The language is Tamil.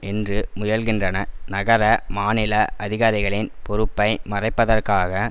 என்று முயல்கின்றன நகர மாநில அதிகாரிகளின் பொறுப்பை மறைப்பதற்காக